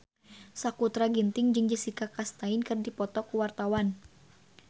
Sakutra Ginting jeung Jessica Chastain keur dipoto ku wartawan